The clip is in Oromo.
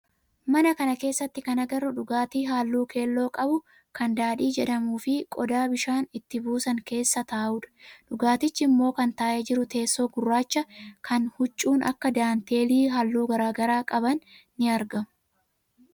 Mana kana keessatti kan agarru dhugaatii halluu keelloo qabu kan daadhii jedhamuu fi qodaa bishaan itti buusan keessa taa'udha. Dhugaatichi immoo kan taa'ee jiru teessoo gurraacha kan huccuun akka daanteelii halluu garaagaraa qaban ni argamu.